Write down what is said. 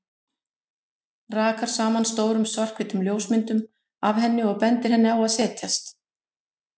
Rakar saman stórum, svarthvítum ljósmyndum af henni og bendir henni á að setjast.